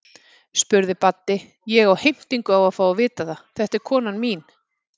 spurði Baddi, ég á heimtingu á að fá að vita það, þetta er konan mín.